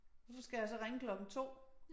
Og så skal jeg så ringe klokken 2